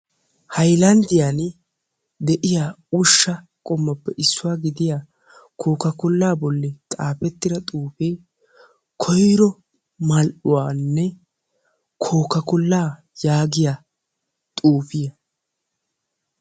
Haylanddiyan de'iya ushsha qommuwappe issuwa gidiya kookkakoollaa bolli xaafettida xuufee koyro mall"uwanne kookkakoollaa yaagiya xuufiya.